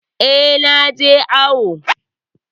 Eh, naje awu